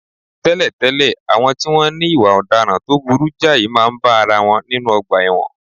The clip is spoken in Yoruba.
Tẹ́lẹ̀tẹ́lẹ̀, àwọn tí wọ́n ní ìwà ọ̀daràn tó burú jáì máa ń bá ara wọn nínú ọgbà ẹ̀wọ̀n